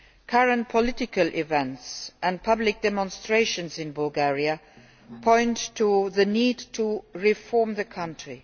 Current political events and public demonstrations in Bulgaria point to the need to reform the country.